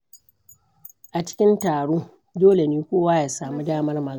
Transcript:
A cikin taro, dole ne kowa ya samu damar magana.